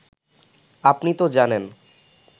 আপনি তো জানেন